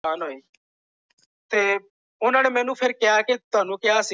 ਕਿਉ ਫੇਰ ਕਿਹਾ ਕਿ ਤੁਹਾਨੂੰ ਕਿਹਾ।